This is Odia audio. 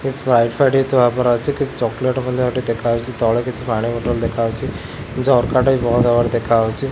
ସ୍ପ୍ରାଇଟ୍ ଫ୍ରାଇଟ୍ ଥୁଆ ଓପରେ ଅଛି। କିଛି ଚକୋଲେଟ ମଧ୍ୟ ଏଠି ଦେଖାହୋଉଛି। ତଳେ କିଛି ପାଣି ବଟଲ ଦେଖାହୋଉଛି। ଝରକାଟା ବି ବନ୍ଦ୍ ହବାର ଦେଖାହୋଉଛି।